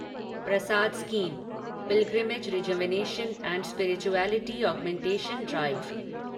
Prasad scheme pilgrimage rejuvenation and spirituality augmentation drive